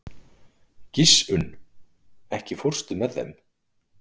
Gissunn, ekki fórstu með þeim?